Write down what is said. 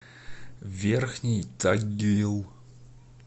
верхний тагил